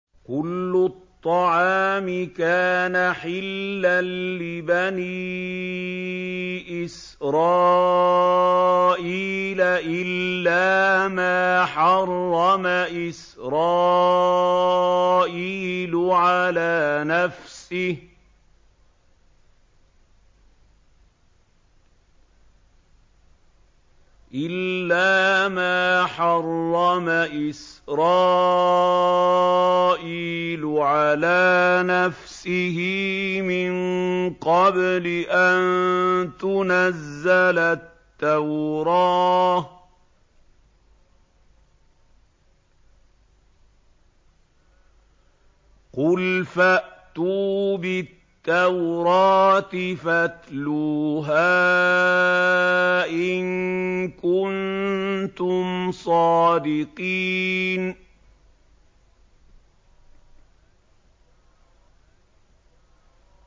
۞ كُلُّ الطَّعَامِ كَانَ حِلًّا لِّبَنِي إِسْرَائِيلَ إِلَّا مَا حَرَّمَ إِسْرَائِيلُ عَلَىٰ نَفْسِهِ مِن قَبْلِ أَن تُنَزَّلَ التَّوْرَاةُ ۗ قُلْ فَأْتُوا بِالتَّوْرَاةِ فَاتْلُوهَا إِن كُنتُمْ صَادِقِينَ